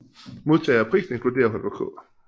Modtagere af prisen inkluderer Holger K